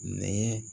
Nɛ